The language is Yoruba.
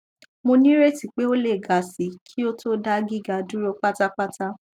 mo nireti pe o le ga si ki o to da giga duro patapata